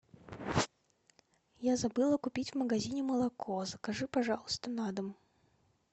я забыла купить в магазине молоко закажи пожалуйста на дом